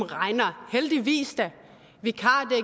heldigvis da